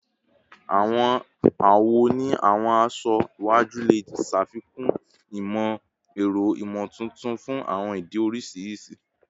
Awọn awọ ni awọn aṣọ iwaju le ṣafikun imọ-ẹrọ imotuntun fun awọn idi oriṣiriṣi